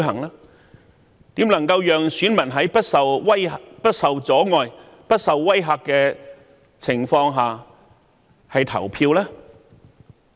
如何能讓選民在不受阻礙、不受威嚇的情況下投票？